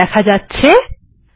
এখন এটি দেখা যাচ্ছে